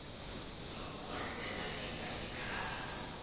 akukho ndlela ingayikhaya